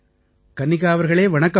கன்னிகா அவர்களே வணக்கம்